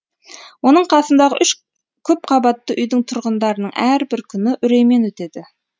оның қасындағы үш көпқабатты үйдің тұрғындарының әрбір күні үреймен өтеді